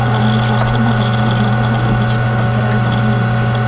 మనం చూస్తున్న గదిలో జిమ్ కు సంబంధించిన పరికరాలన్నీ ఉన్నాయి.